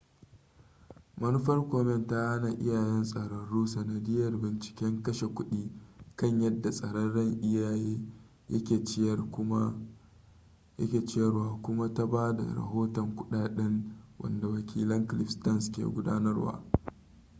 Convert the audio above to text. manufar komen ta hana iyayen tsararru sanadiyyar binciken kashe kudi kan yadda tsararren iyaye yake ciyarwa kuma ta ba da rahoton kuɗaɗɗinta wanda wakilin cliff stearns ke gudanarwa